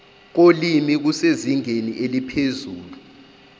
kolimi kusezingeni eliphezulu